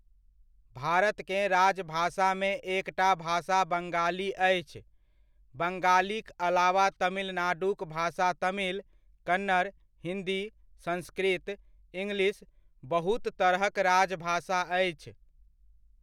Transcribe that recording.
भारतकेँ राजभाषामे एकटा भाषा बंगाली अछि, बंगालीक अलावा तमिलनाडुक भाषा तमिल, कन्नड़, हिन्दी, संस्कृत, इंग्लिश बहुत तरहक राजभाषा अछि।